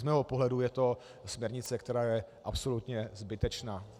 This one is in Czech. Z mého pohledu je to směrnice, která je absolutně zbytečná.